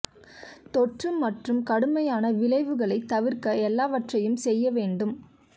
தொற்று மற்றும் கடுமையான விளைவுகளை தவிர்க்க எல்லாவற்றையும் செய்ய வேண்டும்